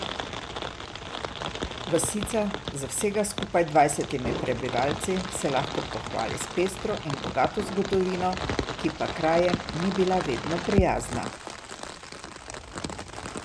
Vasica z vsega skupaj dvajsetimi prebivalci se lahko pohvali s pestro in bogato zgodovino, ki pa s krajem ni bila vedno prijazna.